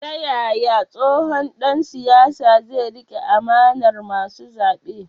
Ta yaya tsohon dan siyasa zai rike amanar masu zabe?